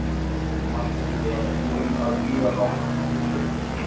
Marteinn var búinn að bíða hátt í klukkutíma.